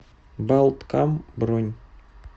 балткам бронь